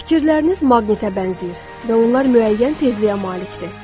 Fikirləriniz maqnitə bənzəyir və onlar müəyyən tezliyə malikdir.